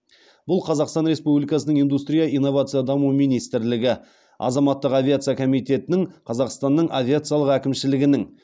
бұл қазақстан республикасының индустрия инновация даму министрлігі азаматтық авиация комитетінің қазақстанның авиациялық әкімшілігінің